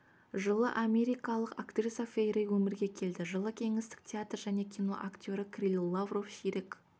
жылы америкалық актриса фэй рэй өмірге келді жылы кеңестік театр және кино актері кирилл лавров ширек